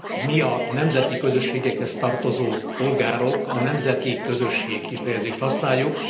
Mi, a nemzeti közösségekhez tartozó polgárok a nemzeti közösség kifejezést használjuk.